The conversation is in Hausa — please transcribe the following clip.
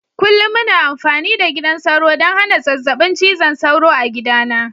Kullum muna amfani da gidan sauro ɗon hana zazzabin cizon sauro a gidana.